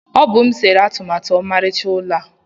Ọ bụ m sere atụmatụ ọmarịcha ụlọ a.